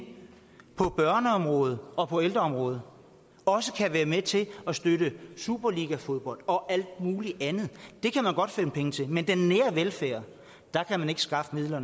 på børneområdet og på ældreområdet også kan være med til at støtte superligafodbold og alt muligt andet det kan man godt finde penge til men den nære velfærd kan man ikke skaffe midler